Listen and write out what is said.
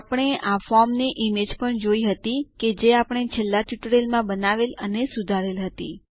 આપણે આ ફોર્મની ઈમેજ પણ જોઈ હતી કે જે આપણે છેલ્લા ટ્યુટોરીયલ માં બનાવેલ અને સુધારેલ હતી